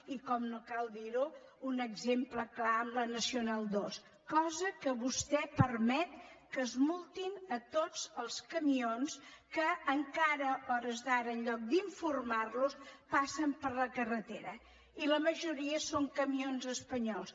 i com no cal dir ho un exemple clar amb la nacional ii i que vostè permet que es multin tots els camions que encara a hores d’ara en lloc d’informar los passen per la carretera i la majoria són camions espanyols